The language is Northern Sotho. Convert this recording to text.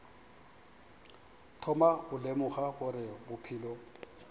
thoma go lemoga gore bophelo